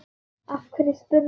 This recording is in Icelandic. Af hverju spyrðu að því?